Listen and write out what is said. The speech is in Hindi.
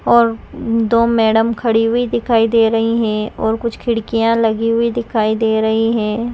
और दो मैडम खड़ी हुई दिखाई दे रही है और कुछ खिड़किया लगी हुई दिखाई दे रही है।